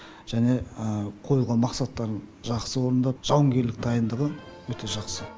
және қойылған мақсаттарын жақсы орындап жауынгерлік дайындығы өте жақсы